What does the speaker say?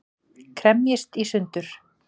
Kremjist í sundur.